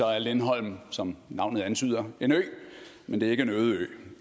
er lindholm som navnet antyder en ø men det er ikke en øde ø